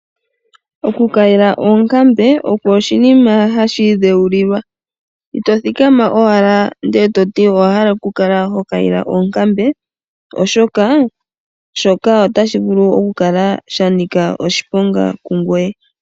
Okukayila oonkambe osho oshinima hashi idheulilwa, ito thikama owala e to ti owa hala okukala ho kayile oonkambe, oshoka otashi vulu okukala sha nika oshiponga kungoye.